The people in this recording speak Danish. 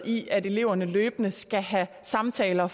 i at eleverne løbende skal have samtaler